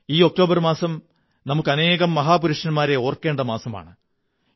ഈ ഒക്ടോബർ മാസം നമുക്ക് അനേകം മഹാപുരുഷന്മാരെ ഓര്ക്കേ ണ്ട മാസമാണ്